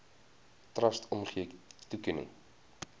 trust omgee toekenning